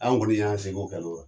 An kɔni y'a seko